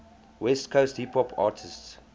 west coast hip hop artists